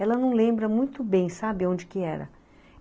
Ela não lembra muito bem, sabe onde que era?